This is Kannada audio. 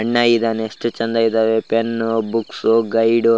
ಅಣ್ಣ ಇದ್ದಾನೆ ಎಷ್ಟು ಚೆಂದ ಇದಾವೆ ಪೆನ್ನು ಬುಕ್ಸ್ ಗೈಡು --